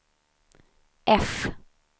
F